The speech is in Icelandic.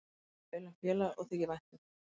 Hann talar vel um félagið og þykir vænt um það.